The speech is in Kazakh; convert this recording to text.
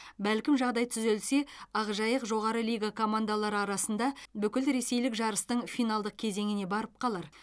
бәлкім жағдай түзелсе ақжайық жоғары лига командалары арасында бүкілресейлік жарыстың финалдық кезеңіне барып қалар